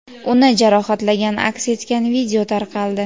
uni jarohatlagani aks etgan video tarqaldi.